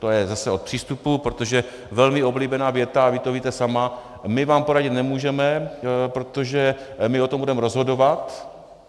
To je zase od přístupu, protože velmi oblíbená věta, a vy to víte sama - my vám poradit nemůžeme, protože my o tom budeme rozhodovat.